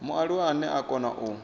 mualuwa ane a kona u